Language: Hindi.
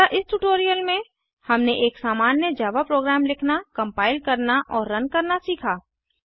अतः इस ट्यूटोरियल में हमने एक सामान्य जावा प्रोग्राम लिखना कम्पाइल करना और रन करना सीखा